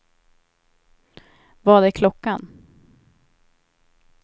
Vad är klockan